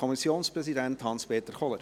Kommissionpräsident der GSoK.